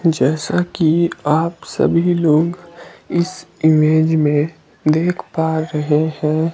जैसा कि आप सभी लोग इस इमेज में देख पा रहे हैं।